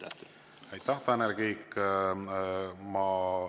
Aitäh, Tanel Kiik!